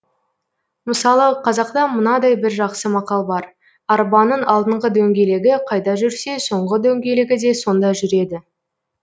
мысалы қазақта мынадай бір жақсы мақал бар арбаның алдыңғы дөңгелегі қайда жүрсе соңғы дөңгелегі де сонда жүреді